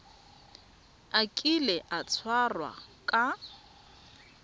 a kile a tshwarwa ka